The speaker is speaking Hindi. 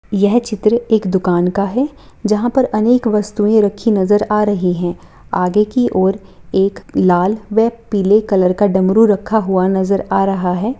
यह चित्र एक दुकान का है जहाँ पर अनेक वस्तुएं रखी नजर आ रही है आगे की ओर एक लाल व पीले कलर का डमरू रखा हुआ नज़र आ रहा है।